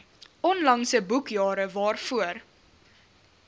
onlangse boekjare waarvoor